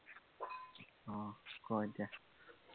আহ ক এতিয়া